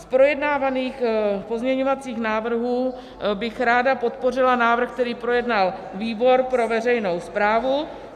Z projednávaných pozměňovacích návrhů bych ráda podpořila návrh, který projednal výbor pro veřejnou správu.